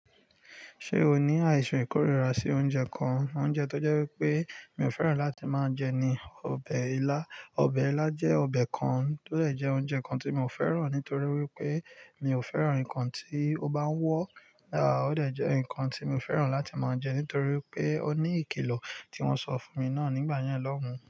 Ṣé o ní àìsàn ìkórìíra sí oúnjẹ kan? Oúnjẹ tó jẹ́ wípé mi ò fẹ́ràn láti máa jẹ ni ọbẹ̀ ilá. Ọbẹ̀ ilá jẹ́ ọbẹ̀ kan tó dè jẹ́ oúnjẹ kan tí mi ò fẹ́ràn nítorí wípé mi ò fẹ́ràn ǹkan tí ó bá ń wọ́. À ó dè jẹ́ ǹkan tí mi ò fẹ́ràn láti máa jẹ nítorí pé ó ní ìkìlọ̀ tí wọ́n sọ fún mi náà nígbà yẹn lọ́hùn-ún.